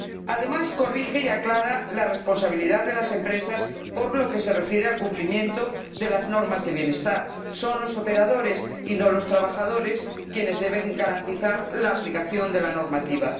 Además, corrige y aclara la responsabilidad de las empresas por lo que se refiere al cumplimiento de las normas de bienestar son los operadores, y no los trabajadores, quienes deben garantizar la aplicación de la normativa.